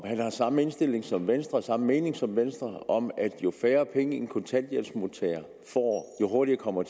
han har samme indstilling som venstre samme mening som venstre om at jo færre penge en kontanthjælpsmodtager får jo hurtigere kommer